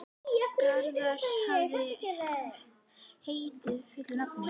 Garðar, hvað heitir þú fullu nafni?